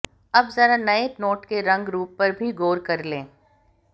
अब ज़रा इस नये नोट के रंग रूप पर भी गौर कर लें